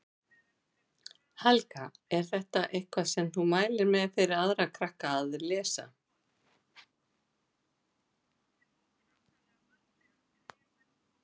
Helga: Er þetta eitthvað sem þú mælir með fyrir aðra krakka að lesa?